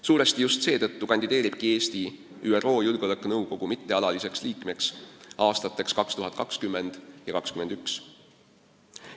Suuresti seetõttu kandideeribki Eesti ÜRO Julgeolekunõukogu mittealaliseks liikmeks aastateks 2020 ja 2021.